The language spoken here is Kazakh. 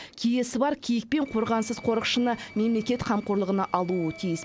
киесі бар киік пен қорғансыз қорықшыны мемлекет қамқорлығына алуы тиіс